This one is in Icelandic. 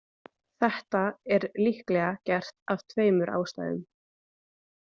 Þetta er líklega gert af tveimur ástæðum.